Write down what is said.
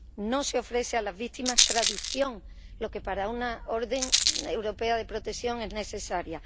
No se ofrece a las víctimas traducción, lo que para una orden europea de protección es necesario.